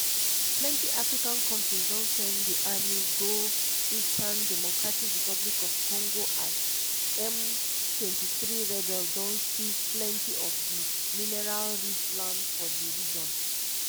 plenty african kontris don send di army go eastern dr congo as m23 rebels don seize plenty of di mineral-rich land for di region.